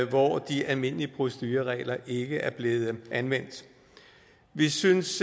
hvor de almindelige procedureregler ikke er blevet anvendt vi synes